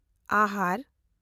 ᱟᱦᱟᱨ